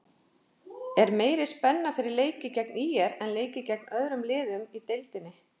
Er meiri spenna fyrir leiki gegn ÍR en leiki gegn öðrum liðum í deildinni?